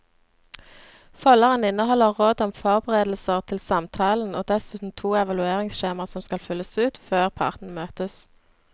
Folderen inneholder råd om forberedelser til samtalen og dessuten to evalueringsskjemaer som skal fylles ut før partene møtes.